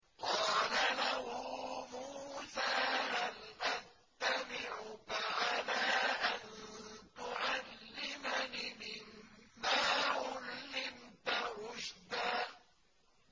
قَالَ لَهُ مُوسَىٰ هَلْ أَتَّبِعُكَ عَلَىٰ أَن تُعَلِّمَنِ مِمَّا عُلِّمْتَ رُشْدًا